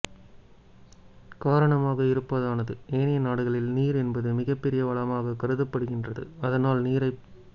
காரணமாக இருப்பதானது ஏனைய நாடுகளில் நீர் என்பது மிக பெரிய வளமாக கருதப்படுகின்றது அதனால் நீரைப்